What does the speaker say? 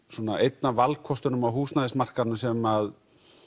svona einn af valkostunum á húsnæðismarkaðnum sem